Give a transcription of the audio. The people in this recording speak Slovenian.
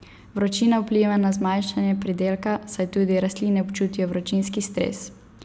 Vročina vpliva na zmanjšanje pridelka, saj tudi rastline občutijo vročinski stres.